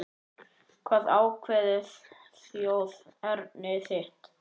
Hvað ákveður þjóðerni þitt?